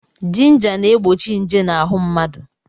Jinja na-egbochi nje n'ahụ mmadụ.